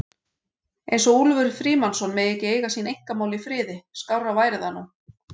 eins og Úlfur Frímannsson megi ekki eiga sín einkamál í friði, skárra væri það nú!